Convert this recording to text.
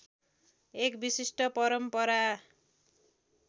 एक विशिष्ट परम्परा